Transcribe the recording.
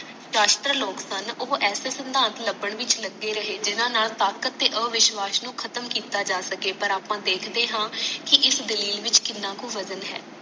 ਸ਼ਾਸ਼ਤਰ ਲੋਗ ਸਨ ਉਹ ਇਸੇ ਚ ਲੱਭਣ ਵਿੱਚ ਲਗੇ ਰਹੇ ਜਿਹਨਾਂ ਨਾਲ ਤਾਕਤ ਤੇ ਅਵਿਸ਼ਵਾਸ ਨੂੰ ਖਤਮ ਕੀਤਾ ਜਾ ਸਕੇ ਪਰ ਆਪਾਂ ਦੇਖਦੇ ਹਾਂ ਕਿ ਇਸ ਦਲੀਲ ਵਿੱਚ ਕਿੰਨਾ ਕੁ ਬਜਨ ਹੈ